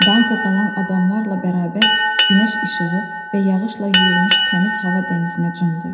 Danko qalan adamlarla bərabər günəş işığı və yağışla yuyulmuş təmiz hava dənizinə cumdu.